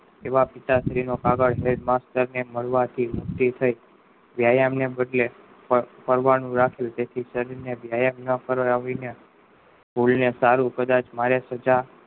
એવા મળવા થી જે થાય હવે એમને પૂછ્યે ફરવાની ને વ્યાયામ ના સમયે મારે ફરવાનું રાખ્યું ને વ્યાયામ ને સારું કદાચ મારે સજા